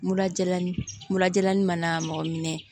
Mura jalani murajalani mana mɔgɔ minɛ